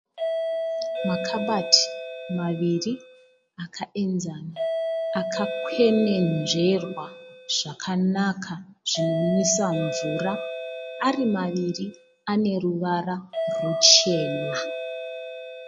Makabati maviri akayenzana, akakwenenzverwa zvakanaka zvinonwisa mvura, ari maviri ane ruvara ruchena